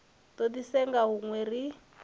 do di senga hunwe ri